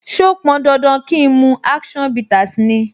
So pọn dandan kín mu action bitters ni?